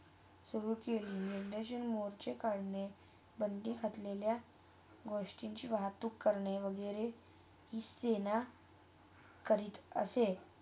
मोर्चे कारने, बंधी करने, गोष्टीची वाहतूक करने वागेरे ही सेना, करीत असे.